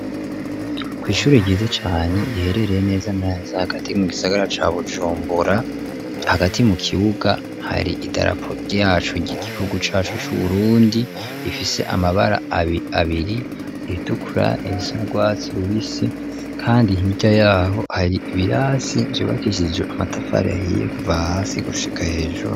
Ku ishuri ryiza cane riherereye neza neza hagati mu gisagara cya bujumbura hagati mu kibuga hari idarapo ryacu ry'igihugu cyacu cy'uburundi rifise amabara abiri iritukura irisa urwasi rubisi kandi hirya yaho hari ibirasi vyubakishijwe amatafari ahiye kuva hasi gushika hejuru.